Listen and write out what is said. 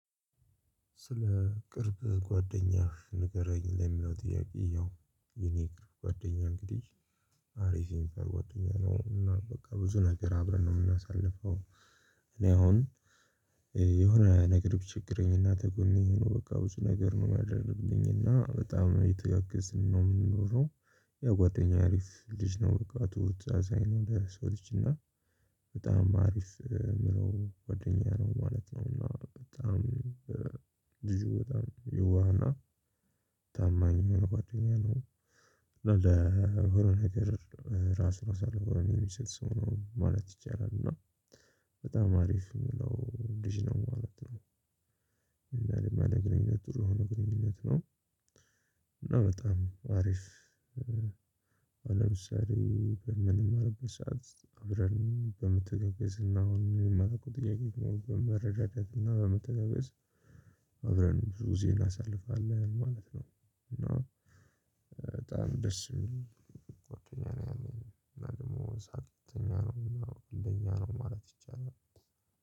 ስለ ቅርብ ጓደኛህ ንገረኝ ለሚለው ጥያቄ ያው የኔ ቅርብ ጓደኛ እንግዲህ አሪፍ ጓደኛ ነው እና በቃ ብዙ ነገር አብረን ነው የምናሳልፈው። እኔ አሁን የሆነ ነገር ብቸግረኝና ከጎኔ በቃ ብዙ ነገር ነው የማደርግልኝ እና በጣም ነው እየተጋገዝን ነው የምንኖረው። ያው ጓደኛዬ አሪፍ ልጅ ነው ብቃቱ ተመሳሳይ ነው እንደ ሰው ልጅ እና በጣም አሪፍ ምለው ጓደኛ ነው ማለት ነው። እና በጣም ልጁ በጣም የዋህና ታማኝ የሆነ ጓደኛ ነው። ለሆነ ነገር ራሱን አሳልፎ የሚሰጥ ሰው ነው ማለት ይቻላል እና በጣም አሪፍ የሚለው ልጅ ነው ማለት ነው። እና እኔም ያለኝ ግንኙነት ጥሩ የሆነ ግንኙነት ነው። እና በጣም አሪፍ ለምሳሌ በምንማርበት ሰዓት አብረን በመተጋገዝ እና የሆነ የማላውቀው ጥያቄ በመረዳዳት እና በመተጋገዝ። አብረን ብዙ ጊዜ እናሳልፋለን ማለት ነው። እና በጣም ደስ የሚል ጉአደኛ ነው ያለኝ እና ደግሞ ሳቅተኛ ነው እና ቀልደኛ ነው ማለት ይቻላል